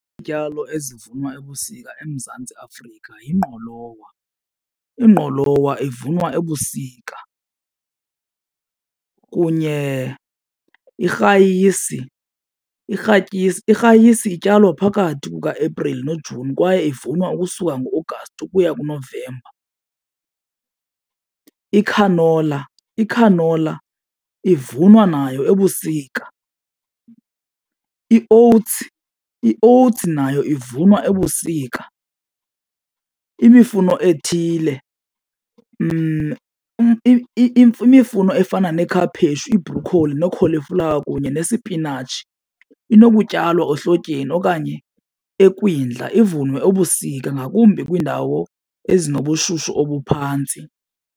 Izityalo ezivunwa ebusika eMantsi Afrika yingqolowa. Ingqolowa ivunwa ebusika kunye nerayisi. Irayisi ityalwa phakathi kukaApril noJuni kwaye ivunwa ukusuka ngoAugust ukuya kuNovemba. Ikhanola, ikhanola ivunwa nayo ebusika. I-oats, i-oats nayo ivunwa ebusika. Imifuno ethile efana nekhaphetshu, ibrokholi, nokholiflawa kunye nesipinatshi inokutyalwa ehlotyeni okanye ekwindla ivunwe ebusika ngakumbi kwiindawo ezinobushushu obuphantsi.